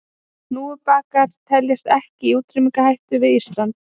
Hnúfubakar teljast ekki í útrýmingarhættu við Ísland.